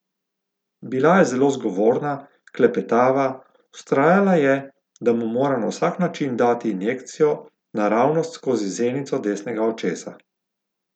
Bila je zelo zgovorna, klepetava, vztrajala je, da mu mora na vsak način dati injekcijo naravnost skozi zenico desnega očesa.